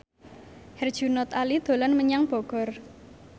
Herjunot Ali dolan menyang Bogor